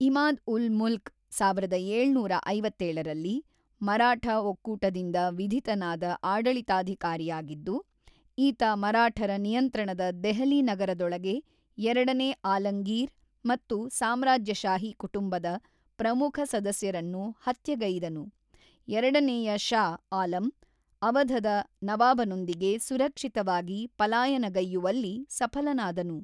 ಇಮಾದ್-ಉಲ್-ಮುಲ್ಕ್ ಸಾವಿರದ ಏಳುನೂರ ಐವತ್ತೇಳರಲ್ಲಿ ಮರಾಠ ಒಕ್ಕೂಟದಿಂದ ವಿಧಿತನಾದ ಆಡಳಿತಾಧಿಕಾರಿಯಾಗಿದ್ದು, ಈತ ಮರಾಠರ ನಿಯಂತ್ರಣದ ದೆಹಲಿ ನಗರದೊಳಗೆ ಎರಡನೇ ಆಲಂಗೀರ್ ಮತ್ತು ಸಾಮ್ರಾಜ್ಯಶಾಹಿ ಕುಟುಂಬದ ಪ್ರಮುಖ ಸದಸ್ಯರನ್ನು ಹತ್ಯೆಗೈದನು; ಎರಡನೇಯ ಷಾ ಆಲಂ ಅವಧದ ನವಾಬನೊಂದಿಗೆ ಸುರಕ್ಷಿತವಾಗಿ ಪಲಾಯನಗೈಯುವಲ್ಲಿ ಸಫಲನಾದನು.